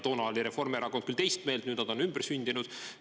Toona oli Reformierakond küll teist meelt, nüüd nad on ümber sündinud.